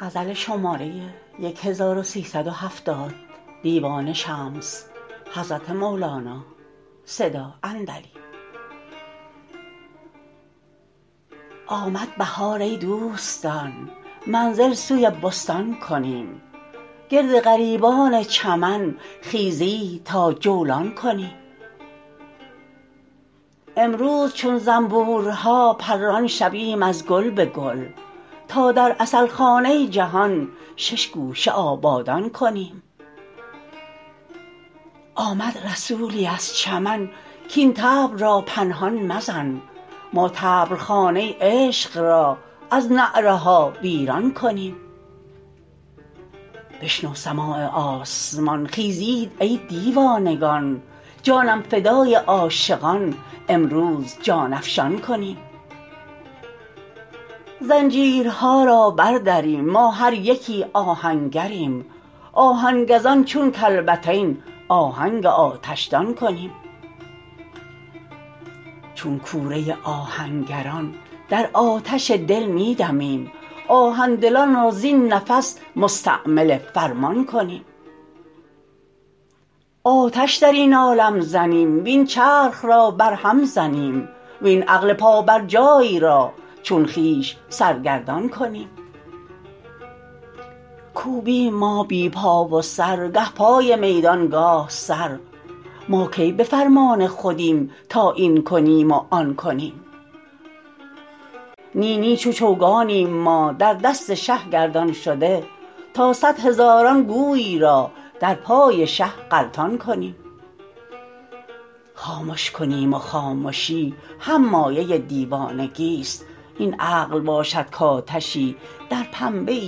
آمد بهار ای دوستان منزل سوی بستان کنیم گرد غریبان چمن خیزید تا جولان کنیم امروز چون زنبورها پران شویم از گل به گل تا در عسل خانه جهان شش گوشه آبادان کنیم آمد رسولی از چمن کاین طبل را پنهان مزن ما طبل خانه عشق را از نعره ها ویران کنیم بشنو سماع آسمان خیزید ای دیوانگان جانم فدای عاشقان امروز جان افشان کنیم زنجیرها را بردریم ما هر یکی آهنگریم آهن گزان چون کلبتین آهنگ آتشدان کنیم چون کوره آهنگران در آتش دل می دمیم کآهن دلان را زین نفس مستعمل فرمان کنیم آتش در این عالم زنیم وین چرخ را برهم زنیم وین عقل پابرجای را چون خویش سرگردان کنیم کوبیم ما بی پا و سر گه پای میدان گاه سر ما کی به فرمان خودیم تا این کنیم و آن کنیم نی نی چو چوگانیم ما در دست شه گردان شده تا صد هزاران گوی را در پای شه غلطان کنیم خامش کنیم و خامشی هم مایه دیوانگیست این عقل باشد کآتشی در پنبه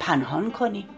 پنهان کنیم